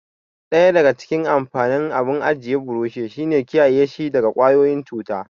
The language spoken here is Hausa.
Daya daga cikin amfanin abun ajiya burushi shi ne kiyaye shi daga ƙwayoyin cuta.